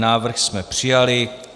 Návrh jsme přijali.